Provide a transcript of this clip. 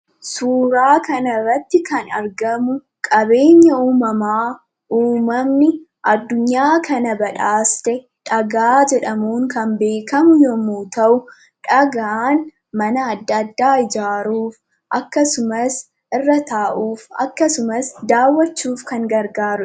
Suuraa kanarratti kan argamu qabeenya uumamaa uumamni addunyaa kana badhaaste dhagaa jedhamuun beekamu yommuu ta'u, dhagaan mana adda addaa ijaaruu akkasumas irra taa'uuf akkasumas daawwachuuf kan gargaarudha.